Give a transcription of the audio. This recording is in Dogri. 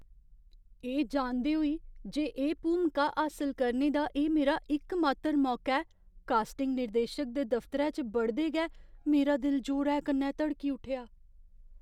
एह् जानदे होई जे एह् भूमिका हासल करने दा एह् मेरा इकमात्तर मौका ऐ, कास्टिंग निर्देशक दे दफतरै च बड़दे गै मेरा दिल जोरै कन्नै धड़की उट्ठेआ।